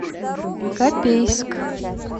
копейск